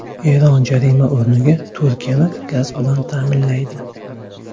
Eron jarima o‘rniga Turkiyani gaz bilan ta’minlaydi.